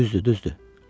Düzdür, düzdür.